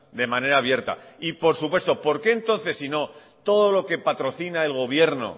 de manera abierta y por supuesto por qué entonces sino todo lo que patrocina el gobierno